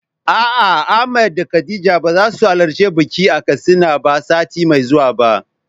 A'a Ahmad da Khadija bazasu halarci bikin a Katsina ba sati mai zuwa ba.